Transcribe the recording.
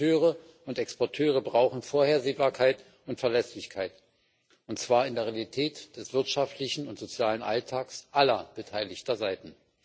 Importeure und Exporteure brauchen Vorhersehbarkeit und Verlässlichkeit, und zwar in der Realität des wirtschaftlichen und sozialen Alltags aller beteiligten Seiten.